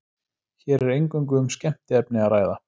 Hér er eingöngu um skemmtiefni að ræða.